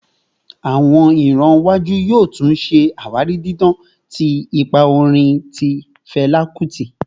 Awọn iran iwaju yoo tun ṣe awari didan ti ipa orin ti Fẹla Kuti